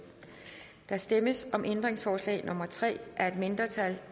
der stemmes om ændringsforslag nummer tre af et mindretal